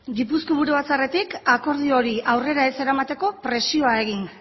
gipuzkoako buru batzarretik akordio hori aurrera ez eramateko presioa egin